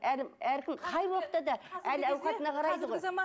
әркім қай уақытта да әл ауқатына қарайды ғой